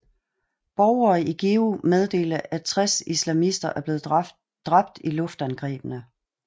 Borgere i Geo meddelte at 60 islamister blev dræbt i luftangrebene